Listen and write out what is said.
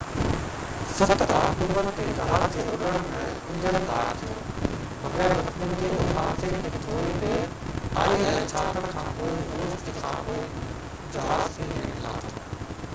7 October تي جهاز جي اُڏڻ مهل انجڻ ڌار ٿيو بغير زخمين جي ان حادثي کانپونءِ روس il-76 کي ٿوري دير کانپوءِ جهاز کي هيٺ لاٿو